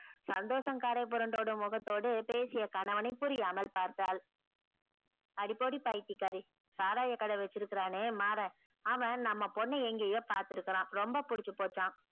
சந்தோஷம் கரை பொரண்டு ஓடும் முகத்தோடு பேசிய கனவனை புரியாமல் பார்த்தால் அடி போடி பைத்தியேகாரி சாராயே கடை வச்சிருக்கானே மாறன் அவன் நம்ம பொண்ண எங்கயோ பாத்துருக்கான் ரொம்ப புடிச்சி போச்சா